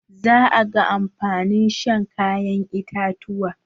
Za a ga amfanin shan kayan itatuwa.